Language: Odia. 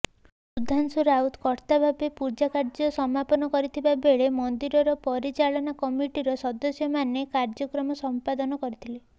ସୁଧାଶୁଂ ରାଉତ କର୍ତ୍ତାଭାବେ ପୂଜାକାର୍ଯ୍ୟ ସମାପନ କରିଥିବାବେଳେ ମନ୍ଦିର ପରିଚାଳନା କମିଟିର ସଦସ୍ୟମାନେ କାର୍ଯ୍ୟକ୍ରମ ସମ୍ପାଦାନ କରିଥିଲେ